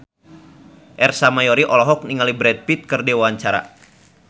Ersa Mayori olohok ningali Brad Pitt keur diwawancara